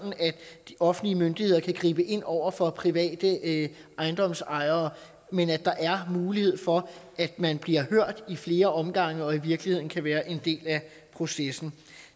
offentlige myndigheder kan gribe ind over for private ejendomsejere men at der er mulighed for at man bliver hørt i flere omgange og i virkeligheden kan være en del af processen